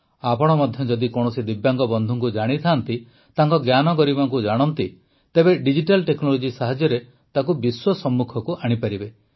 ଆପଣ ମଧ୍ୟ ଯଦି କୌଣସି ଦିବ୍ୟାଙ୍ଗ ବନ୍ଧୁଙ୍କୁ ଜାଣିଥାନ୍ତି ତାଙ୍କ ଜ୍ଞାନଗରିମାକୁ ଜାଣନ୍ତି ତେବେ ଡିଜିଟାଲ୍ ଟେକ୍ନୋଲୋଜି ସାହାଯ୍ୟରେ ତାକୁ ବିଶ୍ୱ ସମ୍ମୁଖକୁ ଆଣିପାରିବେ